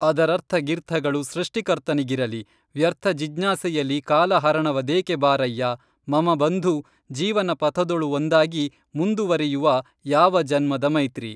ಅದರರ್ಥಗಿರ್ಥಗಳು ಸೃಷ್ಟಿಕರ್ತನಿಗಿರಲಿ ವ್ಯರ್ಥ ಜಿಜ್ಞಾಸೆಯಲಿ ಕಾಲಹರಣವದೇಕೆಬಾರಯ್ಯ ಮಮ ಬಂಧು ಜೀವನ ಪಥದೊಳುಒಂದಾಗಿ ಮುಂದುವರಿಯುವಾ ಯಾವ ಜನ್ಮದ ಮೈತ್ರಿ